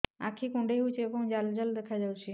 ଆଖି କୁଣ୍ଡେଇ ହେଉଛି ଏବଂ ଜାଲ ଜାଲ ଦେଖାଯାଉଛି